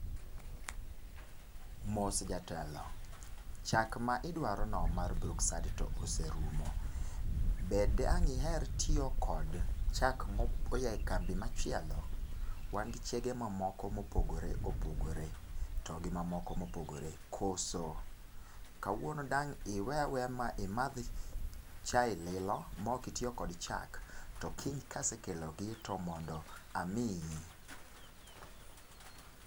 Mos jatelo chak ma idwaro no mar Brookside to oserumo be dang iher tiyo gi chak ma oya e kambi ma chielo wan gi chege moko ma opogore opogore to gi ma moko ma opogore koso ka wuono dang iweyaweya ma imadh chai lilo ma ok itiyo kod chak to kiny ka asekelo gi to amiyi